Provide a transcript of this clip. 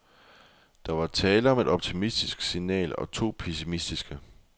Der var tale om et optimistisk signal og to pessimistiske.